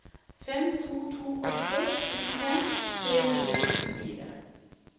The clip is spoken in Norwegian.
fem to to åtte syttifem tre hundre og sekstifire